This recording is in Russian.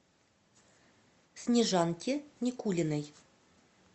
снежанки никулиной